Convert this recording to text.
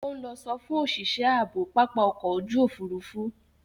Ó ń lọ sọfún òṣìṣẹ́ ààbò pápá ọkọ̀ ojú òfuurufú.